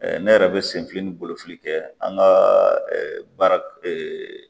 Ne yɛrɛ bɛ senfili ni bolofili kɛ an ka baara